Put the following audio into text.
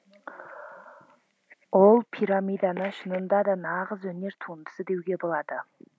ол пирамиданы шынында да нағыз өнер туындысы деуге болады